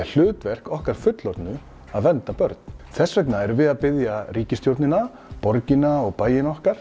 er hlutverk okkar fullorðnu að vernda börn þess vegna erum við að biðja ríkisstjórnina borgina og bæina okkar